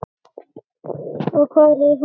Og hvar er hún?